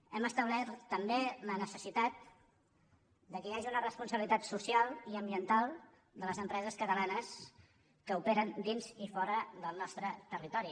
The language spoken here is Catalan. hem establert també la necessitat que hi hagi una responsabilitat social i ambiental de les empreses catalanes que operen dins i fora del nostre territori